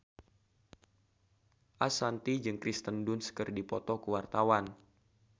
Ashanti jeung Kirsten Dunst keur dipoto ku wartawan